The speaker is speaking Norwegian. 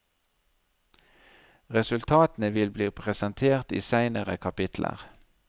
Resultatene vil bli presentert i seinere kapitler.